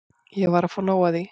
Ég var að fá nóg af því.